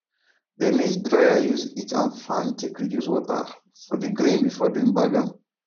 dey maize dryer use heat and fan take reduce water for dey grain before dem bag am